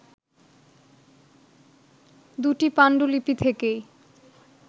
দুটি পাণ্ডুলিপি থেকেই